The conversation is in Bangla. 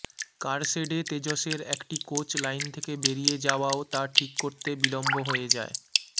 কারশেডে তেজসের একটি কোচ লাইন থেকে বেরিয়ে যাওয়াও তা ঠিক করতে বিলম্ব হয়ে যায়